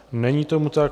Není tomu tak.